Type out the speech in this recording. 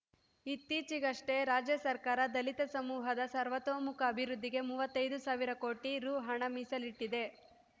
ಇತ್ತೀಚಿಗಷ್ಟೇ ರಾಜ್ಯಸರ್ಕಾರ ದಲಿತ ಸಮೂಹದ ಸರ್ವತೋಮುಖ ಅಭಿವೃದ್ಧಿಗೆ ಮೂವತ್ತೈದು ಸಾವಿರ ಕೋಟಿ ರು ಹಣ ಮೀಸಲಿಟ್ಟಿದೆ